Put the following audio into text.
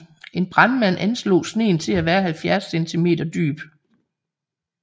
En brandmand anslog sneen til at være 70 centimenter dyb